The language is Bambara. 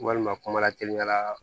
Walima kumala kelen ɲaga